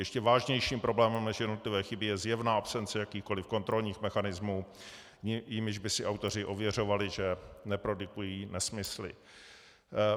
Ještě vážnějším problémem než jednotlivé chyby je zjevná absence jakýchkoliv kontrolních mechanismů, jimiž by si autoři ověřovali, že neprodukují nesmysly.